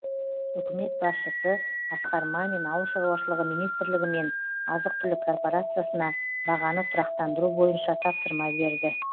үкімет басшысы асқар мамин ауыл шаруашылығы министрлігі мен азық түлік корпорациясына бағаны тұрақтандыру бойынша тапсырма берді